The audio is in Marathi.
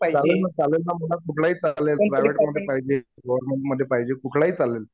चालेल ना चालेल ना. मला कुठलाही चालेल. प्रायव्हेट मध्ये पाहिजे. गव्हर्मेंट मध्ये पाहिजे. कुठलाही चालेल.